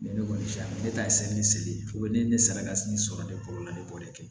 ne kɔni si ma ne ta ye seli ye ne ye ne sara ka sini sɔrɔ de kɔlɔlɔ de b'o de kɛ